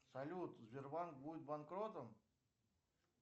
салют сбербанк будет банкротом